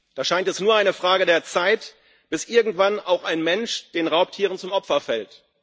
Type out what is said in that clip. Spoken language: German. Da scheint es nur eine Frage der Zeit, bis irgendwann auch ein Mensch den Raubtieren zum Opfer fällt.